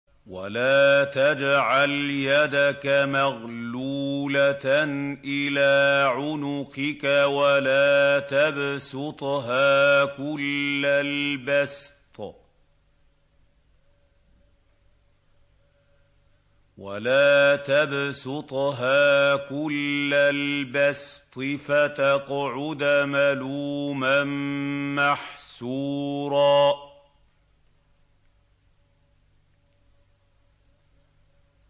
وَلَا تَجْعَلْ يَدَكَ مَغْلُولَةً إِلَىٰ عُنُقِكَ وَلَا تَبْسُطْهَا كُلَّ الْبَسْطِ فَتَقْعُدَ مَلُومًا مَّحْسُورًا